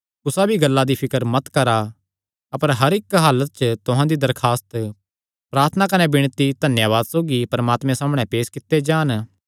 कुसा भी गल्ला दी फिकर मत करा अपर हर इक्क हलात च तुहां दी दरखास्त प्रार्थना कने विणती धन्यावाद सौगी परमात्मे सामणै पेस कित्ते जान